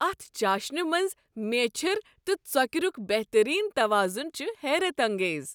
اتھ چاشِنہِ منٛز میچھر تہٕ ژۄكِرُک بہترین توازن چھ حیرت انگیز۔